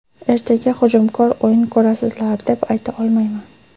Ertaga hujumkor o‘yin ko‘rasizlar, deb ayta olmayman.